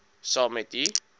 saam met u